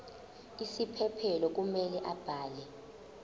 isiphephelo kumele abhale